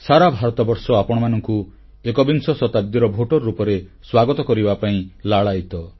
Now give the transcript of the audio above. ସାରା ଭାରତବର୍ଷ ଆପଣମାନଙ୍କୁ ଏକବିଂଶ ଶତାବ୍ଦୀର ଭୋଟର ରୂପରେ ସ୍ୱାଗତ କରିବା ପାଇଁ ଉତ୍ସୁକ